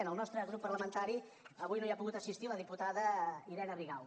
en el nostre grup parlamentari avui no hi ha pogut assistir la diputada irene rigau